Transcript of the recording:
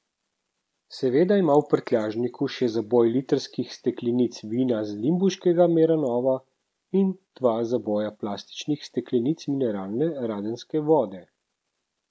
Seveda ima v prtljažniku še zaboj litrskih steklenic vina z limbuškega Meranova in dva zaboja plastičnih steklenic mineralne radenske vode.